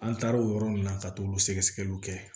An taar'o yɔrɔ nunnu na ka t'olu sɛgɛ sɛgɛliw kɛ